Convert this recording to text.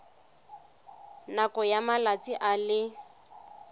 nakong ya malatsi a le